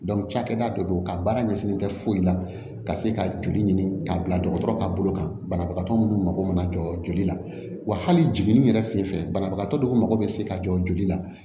cakɛda dɔ don a baara ɲɛsinnen tɛ foyi la ka se ka joli ɲini k'a bila dɔgɔtɔrɔ ka bolo kan banabagatɔ minnu mako mana jɔ joli la wa hali jiginni yɛrɛ senfɛ banabagatɔ dɔw mako bɛ se ka jɔ joli la